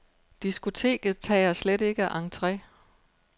Diskoteket tager slet ikke entre.